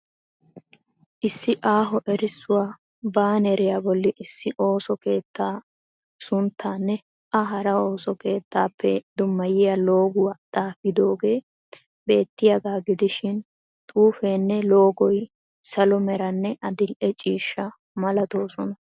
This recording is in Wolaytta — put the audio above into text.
Issi aaho erisuwaa baaneriya bolli issi ooso keetta sunttaanne a hara ooso keettappe dummayiya looguwaa xaafidoogee beettiyaagaa gidishin xuufeenne loogoy salo meranne adildhdhe ciishsha malatoosona.